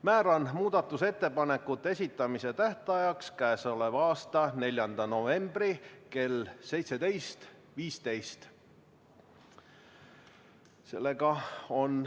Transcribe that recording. Määran muudatusettepanekute esitamise tähtajaks k.a 4. novembri kell 17.15.